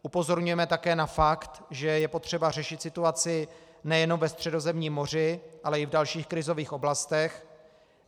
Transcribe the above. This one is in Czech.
Upozorňujeme také na fakt, že je potřeba řešit situaci nejenom ve Středozemním moři, ale i v dalších krizových oblastech.